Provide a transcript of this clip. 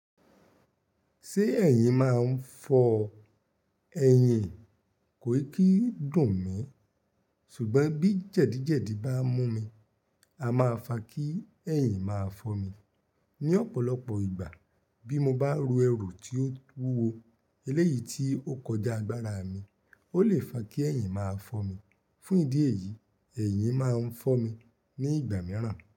Ṣé ẹ̀yin máa ń fọ ẹyin? Kò kì dùn mí, ṣùgbọ́n bí jẹ̀dì jẹ̀dì bá mú mi, a máa fa kí ẹ̀yin máa fọ́ mi. Ni ọ̀pọ̀lọpọ̀ ìgbà bí mo bá ru ẹrù tí ó wúwo eléyìí tí ó kọjá agbára mi, ó le fa kí ẹ̀yin máa fọ́ mi. Fún ìdí èyí, ẹ̀yin máa ń fọ́ mi ní ìgbà mìíràn.